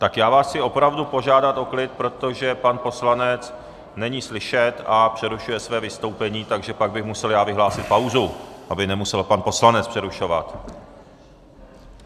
Tak já vás chci opravdu požádat o klid, protože pan poslanec není slyšet a přerušuje své vystoupení, takže pak bych musel já vyhlásit pauzu, aby nemusel pan poslanec přerušovat.